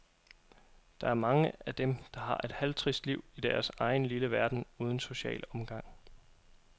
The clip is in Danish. Der er mange af dem, der har et halvtrist liv i deres egen lille verden uden social omgang.